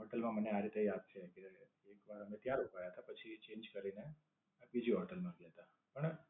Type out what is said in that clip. Hotel માં અમને આ રીતે જ આપશે કે, એક વાર અમે ત્યાં રોકાયા તા પછી twist કરીને બીજી હોટેલ માં ગયા હતા. પણ,